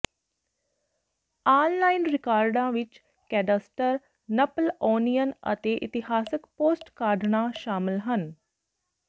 online ਰਿਕਾਰਡਾਂ ਵਿੱਚ cadastre Napoleonian ਅਤੇ ਇਤਿਹਾਸਕ ਪੋਸਟਕਾਡਨਾਂ ਸ਼ਾਮਲ ਹਨ